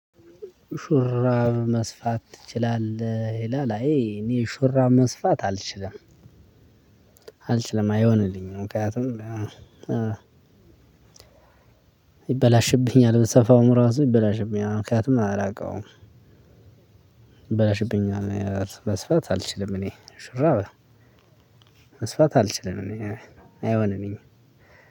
ሹራብ መስፋት ትችላለህ? ይላል አይ እኔ ሹራብ መስፋት አልችልም አልችልም አይሆንልኝም ምክንያቱም ይበላሽብኛል ብሰፋውም እራሱ ይበላሽብኛል ምክንያቱም አላውቀውም ይበላሽብኛል። መስፋት አልችልም እኔ ሹራብ መስፋት አልችልም እኔ አይሆንልኝም